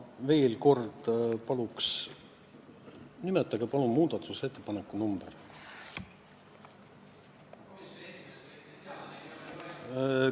Ma veel kord palun, nimetage palun muudatusettepaneku number!